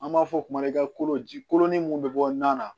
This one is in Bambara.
An b'a fɔ o ma i ka kolo ji kolonin mun bɛ bɔ nan na